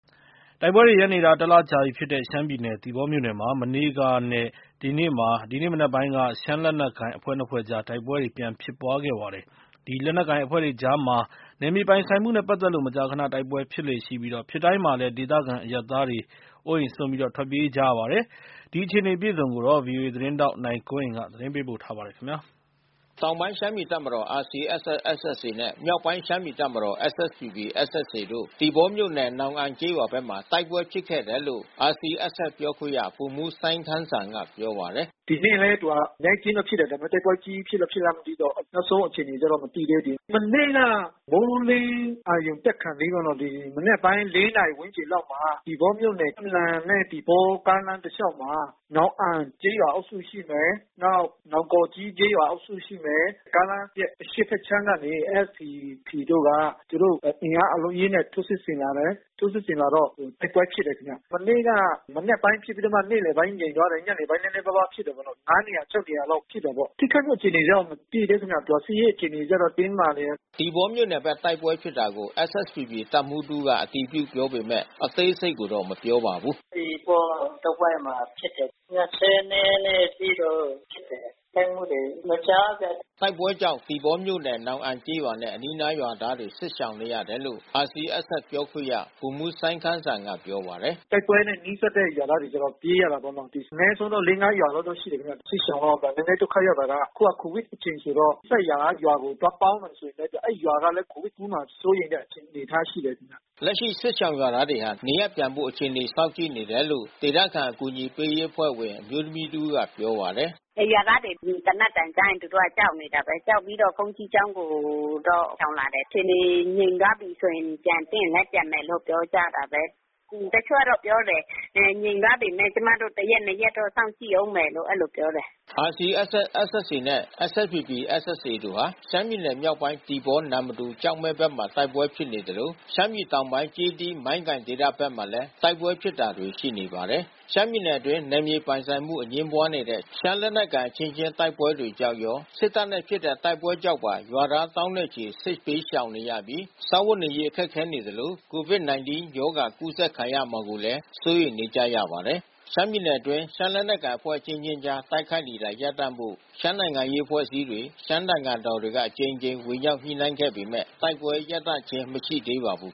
တိုက်ပွဲတွေရပ်နေတာ တလကြာပြီဖြစ်တဲ့ ရှမ်းပြည်နယ်၊ သီပေါမြို့နယ်မှာ မနေ့ကနဲ့ ဒီကနေ့ မနက်ပိုင်းက ရှမ်းလက်နက်ကိုင်အဖွဲ့နှစ်ဖွဲ့ကြား တိုက်ပွဲပြန်ဖြစ်ပါတယ်။ ဒီလက်နက်ကိုင်အဖွဲ့တွေကြားမှာ နယ်မြေပိုင်ဆိုင်မှုနဲ့ပတ်သက်လို့ မကြာခန တိုက်ပွဲဖြစ်လေ့ရှိပြီး ဖြစ်တိုင်းမှာလည်း ဒေသခံအရပ်သားတွေ အိုးအိမ်စွန့် ထွက်ပြေးကြရပါတယ်။ ဒီအခြေအနေအပြည့်အစုံကို ဗွီအိုအေသတင်းထောက် နိုင်ကွန်းအိမ်က သတင်းပေးပို့ထားပါတယ်။ တောင်ပိုင်းရှမ်းပြည်တပ်မတော် နဲ့ မြောက်ပိုင်းရှမ်းပြည်တပ်မတော် တို့ သီပေါမြို့နယ် နောင်အန်ကျေးရွာဘက်မှာ တိုက်ပွဲဖြစ်ခဲ့တယ်လို့ RCSS ပြောခွင့်ရ ဗိုလ်မှူးစိုင်းခမ်းစံကပြောပါတယ်။ "ဒီနေ့လည်း သူက အနဲအကျဉ်းတော့ဖြစ်တယ်။ ဒါပေမဲ့ တိုက်ပွဲကြီး ဖြစ်လားမဖြစ်လား မသိဘူးပေါ့။ နောက်ဆုံးအခြေအနေကြတော့ မသိသေးဘူး။ မနေ့က မိုးလင်းအရုဏ်တက်ခါနီးမှာ၊ ဒီမနက်ပိုင်း ၄ နာရီဝန်းကျင် လောက်မှာ သီပေါမြို့နယ် နန့်လန်နဲ့သီပေါကားလမ်းတလျှောက်မှာ နောင်အန်ကျေးရွာအုပ်စုရှိမယ်။ နောင်ကော်ကြီးကျေးရွာအုပ်စုရှိမယ်။ ကားလမ်းရဲ့အရှေ့ဘက်ခြမ်းကနေ SSPP တို့က သူတို့အင်အားအလုံးအရင်းနဲ့ထိုးစစ်ဆင်လာတယ်။ ထိုးစစ်ဆင်လာတော့ တိုက်ပွဲဖြစ်တယ်ခင်ဗျ။ မနေ့က မနက်ပိုင်းဖြစ်ပြီးတော့မှ နေ့လည်ပိုင်းငြိမ်သွားတယ်။ ညနေပိုင်း နည်းနည်းပါးပါးဖြစ်တယ်ပေါ့နော်။ ၅ နေရာ ၆ နေရာလောက်ဖြစ်နေတာပေါ့။ ထိခိုက်မှုအခြေအနေတော့ မသိသေးဘူးခင်ဗျ။ စစ်ရေးအခြေအနေကျတော့ တင်းမာနေတယ်။" သီပေါမြို့နယ်ဘက် တိုက်ပွဲဖြစ်တာကို SSPP တပ်မှူးတဦးက အတည်ပြုပြောပေမဲ့ အသေးစိတ်ကိုတော့ မပြောပါဘူး။ "သီပေါတဝိုက်မှာဖြစ်တယ်။ ၂၂ ရက်အထိတော့ဖြစ်တယ်။ ထိခိုက်မှုတွေမကြားဘူး။" တိုက်ပွဲကြောင့် သီပေါမြို့နယ် နောင်အန်ကျေးရွာနဲ့ အနီးနားရွာသားတွေ စစ်ရှောင်နေရတယ်လို့ RCSS ပြောခွင့်ရ ဗိုလ်မှူးစိုင်းခမ်းစံကပြောပါတယ်။ "တိုက်ပွဲနဲ့နီးစပ်တဲ့ရွာသားတွေ ပြေးရတာပေါ့နော်။ အနည်းဆုံးတော့ လေးငါးရွာလောက်တော့ရှိမယ်ခင်ဗျ။ စစ်ရှောင်တော့ နည်းနည်းဒုက္ခရောက်တာက အခုက ကိုဗစ်အချိန်ဆိုတော့ နီးစပ်ရာရွာတွေကို သွားပေါင်းနေတာဆို အဲဒီရွာကလည်း ကိုဗစ်ကူးမှာစိုးရိမ်တဲ့အခြေအနေ အနေအထားရှိတယ်။" လက်ရှိစစ်ရှောင်ရွာသားတွေဟာ နေရပ်ပြန်ဖို့အခြေအနေစောင့်ကြည့်နေတယ်လို့ ဒေသခံအကူညီပေးရေးအဖွဲ့ဝင် အမျိုးသမီးတဦးကပြောပါတယ်။ "ဒီရွာသားတွေ သေနတ်သံကြားရင် သူတို့ကကြောက်နေတာပဲ။ ကြောက်ပြီးတော့ ဘုန်းကြီးကျောင်းကိုရှောင်လာတယ်။ အခြေအနေငြိမ်သွားပြီဆိုရင် ပြန်သင့်ရင်လည်းပြန်မယ်လို့ ပြောကြတာပဲ။ တချို့ကတော့ပြောတယ်။ ငြိမ်သွားပေမယ့် ကျမတို့ တရက်နှစ်ရက်စောင့်ကြည့်ဦးမယ်လို့ အဲဒီလိုပြောတယ်။" RCSS/SSA နဲ့ SSPP/SSA တို့ဟာ ရှမ်းပြည်နယ်မြောက်ပိုင်း သီပေါ၊ နမ္မတူ၊ ကျောက်မဲဘက်မှာ တိုက်ပွဲတွေဖြစ်နေသလို ရှမ်းပြည်တောင်ပိုင်း ကျေးသီး၊ မိုင်းကိုင်ဒေသဘက်မှာလည်း တိုက်ပွဲဖြစ်တာတွေ ရှိနေပါတယ်။ ရှမ်းပြည်နယ်အတွင်း နယ်မြေပိုင်ဆိုင်မှု အငြင်းပွားတဲ့ ရှမ်းလက်နက်ကိုင်အချင်းချင်း တိုက်ပွဲတွေကြောင့်ရော၊ စစ်တပ်နဲ့ဖြစ်တဲ့ တိုက်ပွဲတွေကြောင့်ပါ ရွာသား သောင်းနဲ့ချီ စစ်ဘေးရှောင်နေရပြီး စားဝတ်နေရေးခက်ခဲနေသလို COVID-19 ရောဂါ ကူးစက်ခံရမှာကိုလည်း စိုးရိမ်နေကြရပါတယ်။ ရှမ်းပြည်နယ်တွင်း ရှမ်းလက်နက်ကိုင်အဖွဲ့အချင်းချင်းကြား တိုက်ခိုက်နေတာရပ်တန့်ဖို့ ရှမ်းနိုင်ငံရေး အဖွဲ့အစည်းတွေ ရှမ်းသံဃာတော်တွေက အကြိမ်ကြိမ် ဝင်ရောက်ညှိနှိုင်းပေးခဲ့ပေမဲ့ တိုက်ပွဲတွေ ရပ်သွားခြင်း မရှိသေးပါဘူး